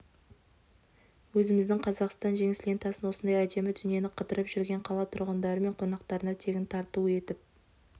өзіміздің қазақстандық жеңіс лентасын осындай әдемі дүниені қыдырып жүрген қала тұрғындары мен қонақтарына тегін тарту етіп